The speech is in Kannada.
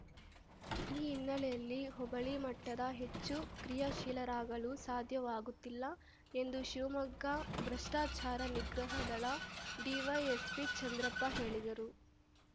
ಈ ಹಿನ್ನೆಲೆಯಲ್ಲಿ ಹೋಬಳಿ ಮಟ್ಟದ ಹೆಚ್ಚು ಕ್ರಿಯಾಶೀಲರಾಗಲು ಸಾಧ್ಯವಾಗುತ್ತಿಲ್ಲ ಎಂದು ಶಿವಮೊಗ್ಗ ಭ್ರಷ್ಟಾಚಾರ ನಿಗ್ರಹ ದಳ ಡಿವೈಎಸ್ಪಿ ಚಂದ್ರಪ್ಪ ಹೇಳಿದರು